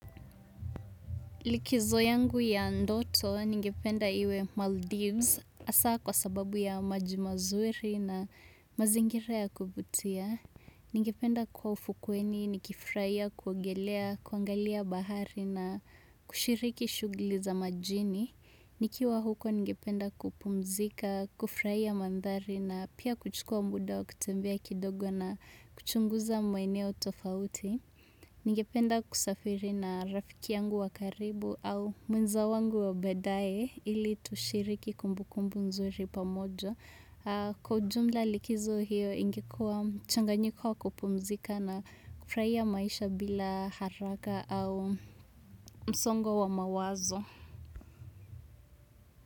Likizo yangu ya ndoto ningependa iwe Maldives hasa kwa sababu ya maji mazuri na mazingira ya kuvutia. Ningependa kuwa ufukweni, nikifurahia, kuogelea, kuangalia bahari na kushiriki shughuli za majini. Nikiwa huko ningependa kupumzika, kuufrahia mandhari na pia kuchukua muda wa kutembea kidogo na kuchunguza maeneo tofauti. Ningependa kusafiri na rafiki yangu wa karibu au mwenza wangu wa baadae ili tushiriki kumbukumbu nzuri pamoja. Kwa jumla likizo hiyo ingekua mchanganyiko wa kupumzika na kufurahia maisha bila haraka au msongo wa mawazo.